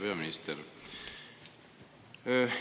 Hea peaminister!